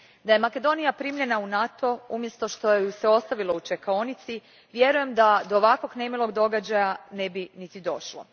Da je Makedonija primljena u NATO umjesto što je se ostavilo u čekaonici, vjerujem da do ovakvog nemilog događaja ne bi niti došlo.